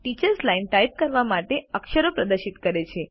teachers line type કરવા માટેના અક્ષરો પ્રદર્શિત કરે છે